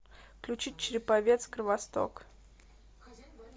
включи череповец кровосток